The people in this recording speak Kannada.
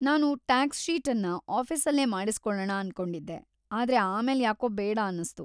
ನಾನು ಟಾಕ್ಸ್‌ ಶೀಟನ್ನ ಆಫೀಸಲ್ಲೇ ಮಾಡಿಸ್ಕೊಳಣ ಅನ್ಕೊಂಡಿದ್ದೆ, ಆದ್ರೆ ಆಮೇಲೆ ಯಾಕೋ ಬೇಡ ಅನ್ಸ್ತು.